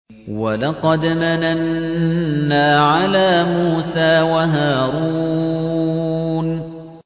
وَلَقَدْ مَنَنَّا عَلَىٰ مُوسَىٰ وَهَارُونَ